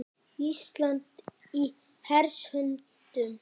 Ísland í hers höndum